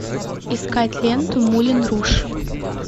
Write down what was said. искать ленту мулен руж